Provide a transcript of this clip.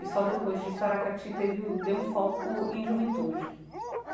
E só depois disso, a Aracati teve o deu um foco em juventude.